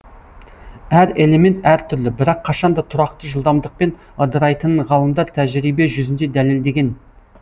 әр элемент әр түрлі бірақ қашан да тұракты жылдамдыкпен ыдырайтынын ғалымдар тәжірибе жүзінде дәлелдеген